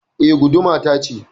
E, guduma tace